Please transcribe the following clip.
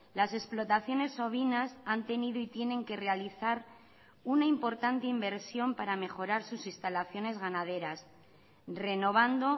las explotaciones ovinas han tenido y tienen que realizar una importante inversión para mejorar sus instalaciones ganaderas renovando